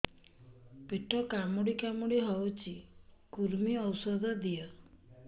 ପେଟ କାମୁଡି କାମୁଡି ହଉଚି କୂର୍ମୀ ଔଷଧ ଦିଅ